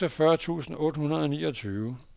seksogfyrre tusind otte hundrede og niogtyve